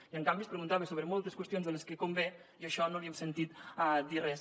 i en canvi es preguntava sobre moltes qüestions de les que convé i en això no li hem sentit dir res